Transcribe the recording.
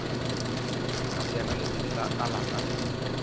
yena lesedi la lapa le